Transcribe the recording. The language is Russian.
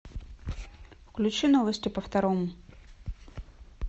включи новости по второму